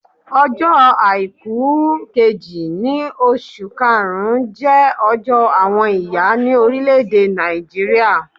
Ọjọ́ àìkú kejì nínú oṣù karùn-ún jẹ́ ọjọ́ àwọn ìyá ni orile-ede Nàìjíríà